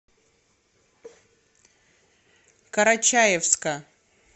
карачаевска